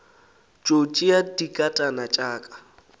tšo tšea dinkatana tša ka